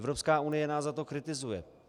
Evropská unie nás za to kritizuje.